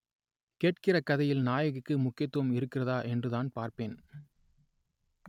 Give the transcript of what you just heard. கேட்கிற கதையில் நாயகிக்கு முக்கியத்துவம் இருக்கிறதா என்றுதான் பார்ப்பேன்